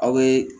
Aw bɛ